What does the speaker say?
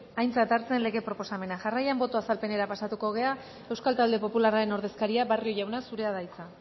aintzat hartzen lege proposamena jarraian boto azalpenera pasatuko gara euskal talde popularraren ordezkaria barrio jauna zurea da hitza